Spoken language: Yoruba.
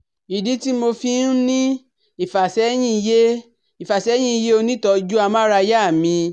Ìdí tí mo fi ń ní ìfàsẹ́yìn ̀ yé ìfàsẹ́yìn ̀ yé onítọ̀ọ́jú amárayá mi